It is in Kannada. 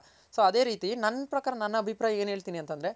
so ಅದೆ ರೀತಿ ಪ್ರಕಾರ ನನ್ ಅಭಿಪ್ರಾಯ ಏನ್ ಹೇಳ್ತೀನಿ ಅಂತಂದ್ರೆ